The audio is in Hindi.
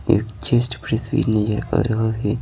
एक चेस्ट प्रिस भि नजर आ रहा है।